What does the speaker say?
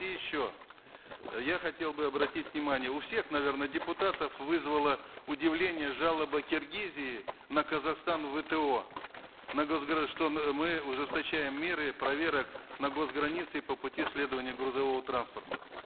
и еще я хотел бы обратить внимание у всех наверно депутатов вызвала удивление жалоба киргизии на казахстан в вто на что мы ужесточаем меры проверок на гос границе по пути следования грузового транспорта